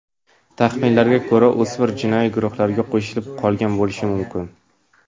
Taxminlarga ko‘ra o‘smir jinoiy guruhlarga qo‘shilib qolgan bo‘lishi mumkin.